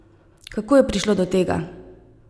Kako je prišlo do tega?